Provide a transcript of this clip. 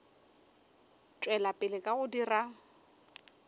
tšwela pele ka go dira